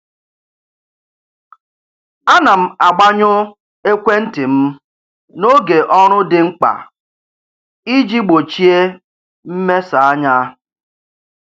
A na m agbanyụ ekwentị m n'oge ọrụ dị mkpa iji gbochie mmesa anya.